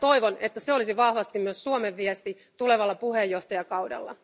Toivon, että se olisi vahvasti myös Suomen viesti tulevalla puheenjohtajakaudella.